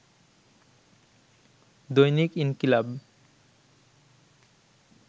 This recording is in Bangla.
দৈনিক ইনকিলাব